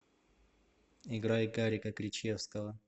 играй гарика кричевского